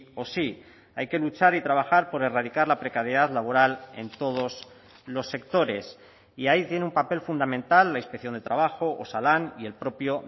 o sí hay que luchar y trabajar por erradicar la precariedad laboral en todos los sectores y ahí tiene un papel fundamental la inspección de trabajo osalan y el propio